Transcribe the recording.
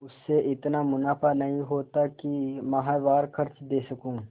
उससे इतना मुनाफा नहीं होता है कि माहवार खर्च दे सकूँ